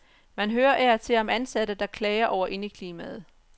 Man hører af og til om ansatte, der klager over indeklimaet.